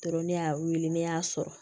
Tɔɔrɔ ne y'a weele ne y'a sɔrɔ